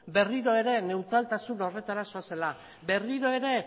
berriro ere neutraltasun horretara zoazela berriro ere